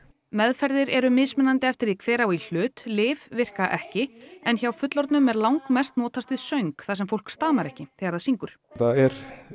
meðferðir eru mismunandi eftir því hver á í hlut lyf virka ekki en hjá fullorðnum er langmest notast við söng þar sem fólk stamar ekki þegar það syngur þetta er